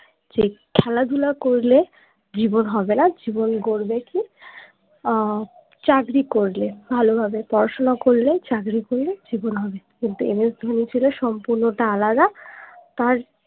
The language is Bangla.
সেই খেলাধুলা করলে জীবন হবেনা জীবন গড়বে কি আহ চাকরি করলে ভালো ভাবে পড়াশুনা করলে চাকরি করলে জীবনে হবে কিন্তু MS ধোনি ছিল সম্পূর্ণটা আলাদা তার